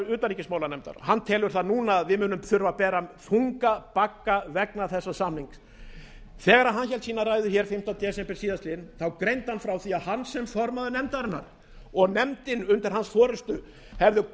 utanríkismálanefndar hann telur það núna að við munum þurfa að bera þunga bagga vegna þessa samnings þegar hann hélt sína ræðu hér fimmta desember síðastliðinn þá greindi hann frá því að hann sem formaður nefndarinnar og nefndin undir hans forustu hefði